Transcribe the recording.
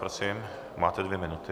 Prosím máte dvě minuty.